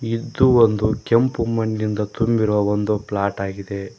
ಇದು ಒಂದು ಕೆಂಪು ಮಣ್ಣಿಂದ ತುಂಬಿರುವ ಒಂದು ಪ್ಲಾಟ್ ಆಗಿದೆ.